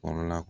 Kɔrɔla